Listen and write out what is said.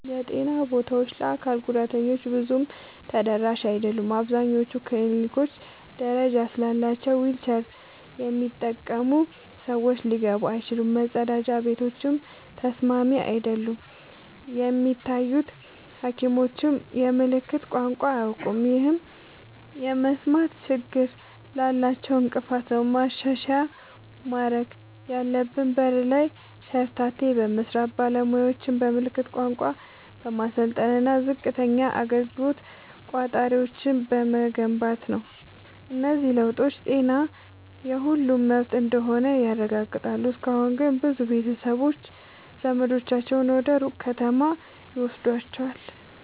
የጤና ቦታዎች ለአካል ጉዳተኞች ብዙም ተደራሽ አይደሉም። አብዛኞቹ ክሊኒኮች ደረጃ ስላላቸው ዊልቸር የሚጠቀሙ ሰዎች ሊገቡ አይችሉም፤ መጸዳጃ ቤቶችም ተስማሚ አይደሉም። የሚታዩ ሐኪሞችም የምልክት ቋንቋ አያውቁም፣ ይህም የመስማት ችግር ላላቸው እንቅፋት ነው። ማሻሻያ ማድረግ ያለብን በር ላይ ሸርተቴ በመስራት፣ ባለሙያዎችን በምልክት ቋንቋ በማሰልጠን እና ዝቅተኛ አገልግሎት ቆጣሪዎችን በመገንባት ነው። እነዚህ ለውጦች ጤና የሁሉም መብት እንደሆነ ያረጋግጣሉ። እስካሁን ግን ብዙ ቤተሰቦች ዘመዳቸውን ወደ ሩቅ ከተማ ይወስዷቸዋል።